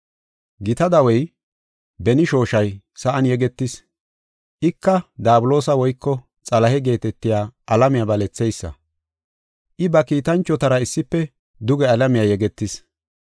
Gita dawey, beni shooshay, sa7an yegetis. Ika Daabuloosa woyko Xalahe geetetiya alamiya baletheysa. I ba kiitanchotara issife duge alamiya yegetis.